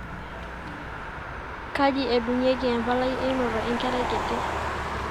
kaji edunguikie empalai einoto enkerai kiti